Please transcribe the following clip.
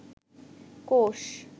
কোষ